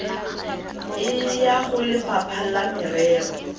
e ya golefapha la merero